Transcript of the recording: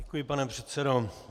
Děkuji, pane předsedo.